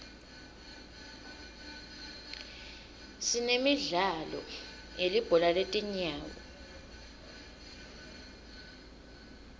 sinemidlalo yelibhola letinyawo